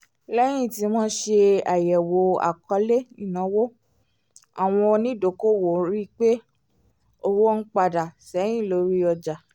léyìn tí wọ́n ṣe àyẹ̀wò àkọ́lẹ̀ ináwó àwọn onídokòòwò rí pé owó ń padà sẹ́yìn lórí ọjà